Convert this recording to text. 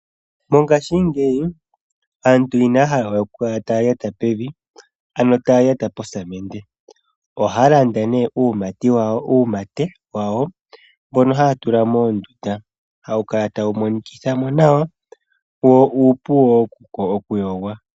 Mongaashingeyi aantu inaya hala we okukala taya lyata pevi ano taya lyata posamende . Ohaya landa nee uumate wawo mbono haya tula moondunda. Ohawu kala tawu monikithamo nawa wo uupu woo okuyogwa.